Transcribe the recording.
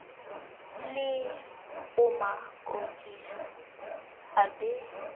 le amo kodisa a be